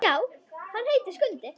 Já, hann heitir Skundi.